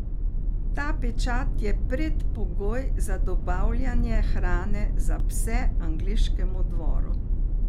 Ta pečat je predpogoj za dobavljanje hrane za pse angleškemu dvoru.